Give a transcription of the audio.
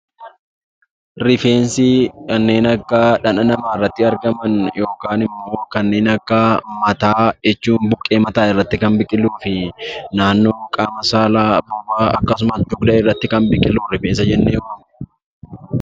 Rifeensi kanneen akka dhaqna namaarratti argaman yookaan immoo kanneen akka mataa jechuun buqqee mataa irratti kan biqiluu fi naannoo qaama saalaa, bobaa akkasumas dugda irratti kan biqilu rifeensa jennee waamna.